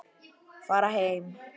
Fara heim!